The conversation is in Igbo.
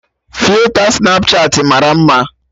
Filta Snapchatị mara mma